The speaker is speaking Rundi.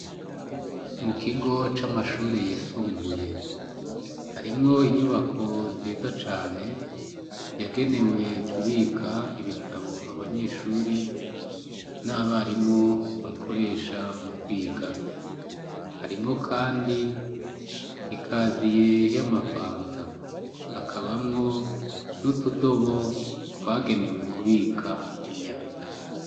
Mu kigo c'amashure yisumbuye harimwo inyubako nziza cane yagenewe kubika ibitabo abanyeshure n'abarimo bakoresha mu kwiga harimo, kandi ikaziye y' amafanta hakabamwo nutudobo bagenewe kubika imyanda.